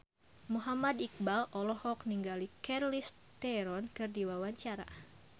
Muhammad Iqbal olohok ningali Charlize Theron keur diwawancara